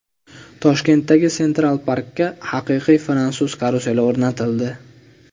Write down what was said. Toshkentdagi Central Park’ga haqiqiy fransuz karuseli o‘rnatildi .